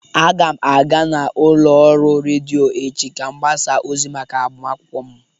Aga m aga n'ụlọ ọrụ redio echi ka m gbasa ozi maka agbamakwụkwọ m